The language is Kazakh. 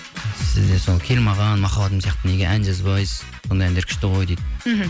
сізде сол кел маған махаббатым деген сияқты неге ән жазбайсыз сондай әндер күшті ғой дейді мхм